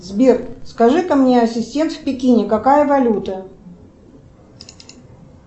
сбер скажи ка мне ассистент в пекине какая валюта